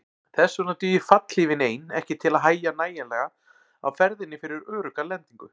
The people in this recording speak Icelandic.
Þess vegna dugir fallhlífin ein ekki til að hægja nægjanlega á ferðinni fyrir örugga lendingu.